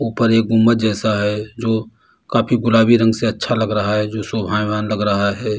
ऊपर एक गुम्बद जैसा है जो काफी गुलाबी रंग से अच्छा लग रहा है जो शोभायमान लग रहा है।